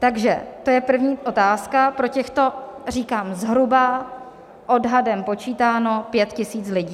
Takže to je první otázka pro těchto, říkám, zhruba odhadem počítáno pět tisíc lidí.